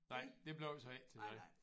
Nej det blev så ikke til noget